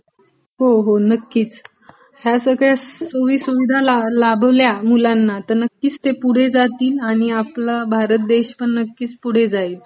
हो हो नक्कीच. ह्या सगळ्या सोया सुविधा लाभल्या मुलांना तर नक्कीच ते पुढे जातील आणि ापला भारत देश पण पुढे जाईल.